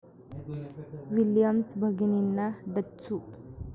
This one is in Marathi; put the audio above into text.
विलियम्स भगिनींना डच्चू